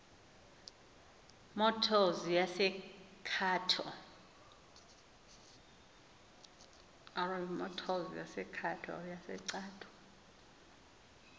motors yase cato